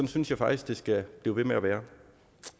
synes jeg faktisk det skal blive ved med at være